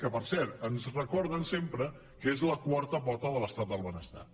que per cert ens recorden sempre que és la quarta pota de l’estat del benestar